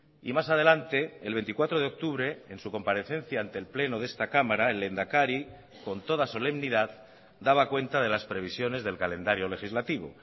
y más adelante el veinticuatro de octubre en su comparecencia ante el pleno de esta cámara el lehendakari con toda solemnidad daba cuenta de las previsiones del calendario legislativo